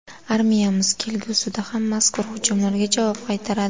Armiyamiz kelgusida ham mazkur hujumlarga javob qaytaradi.